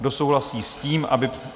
Kdo souhlasí s tím, aby...